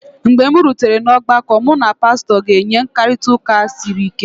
mgbe m rutere n’ọgbakọ, mụ na pastọ ga-enwe mkparịta ụka siri ike